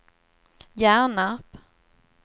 Hjärnarp